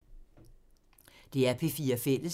DR P4 Fælles